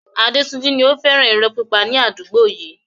Adetunji ni ó fẹ́ràn irọ́ pípa ní àdúgbò yìí.